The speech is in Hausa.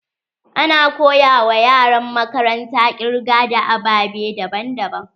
Ana koya wa yaran makaranta kirga da ababe daban daban.